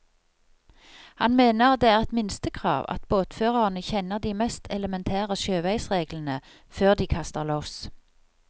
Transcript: Han mener det er et minstekrav at båtførerne kjenner de mest elementære sjøveisreglene før de kaster loss.